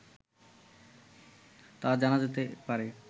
তা জানা যেতে পারে